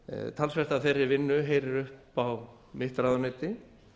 talsvert af þeirri vinnu heyrir upp á mitt ráðuneyti